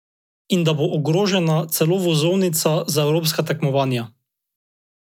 In da bo ogrožena celo vozovnica za evropska tekmovanja.